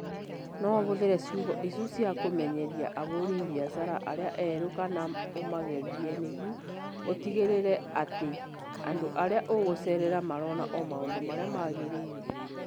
No ũhũthĩre ciugo icio cia kũmenyeria ahũri biacara arĩa erũ kana ũmagerie nĩguo ũtigĩrĩre atĩ andũ arĩa ũgũceerera marona o maũndũ marĩa magĩrĩire